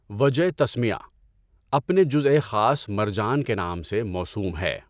وجہ تسمیہ: اپنے جزءِ خاص مرجان کے نام سے موسوم ہے۔